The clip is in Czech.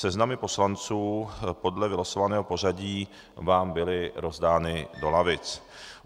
Seznamy poslanců podle vylosovaného pořadí vám byly rozdány do lavic.